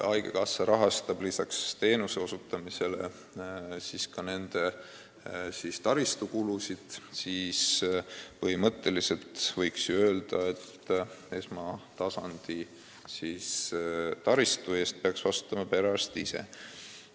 Haigekassa rahastab lisaks teenuse osutamisele ka nende taristukulusid, aga põhimõtteliselt võiks ju öelda, et esmatasandi taristu eest peaks vastutama perearst ise.